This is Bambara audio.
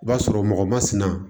I b'a sɔrɔ mɔgɔ masina